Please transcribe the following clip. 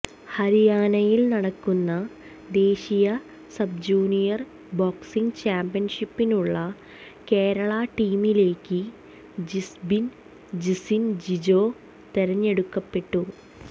ഹരിയാനയിൽ നടക്കുന്ന ദേശീയ സബ്ജൂനിയർ ബോക്സിങ് ചാമ്പ്യൻഷിപ്പിനുള്ള കേരള ടീമിലേക്ക് ജിസ്ബിൻ ജിസിൻ ജിജോ തെരഞ്ഞെടുക്കപ്പെട്ടു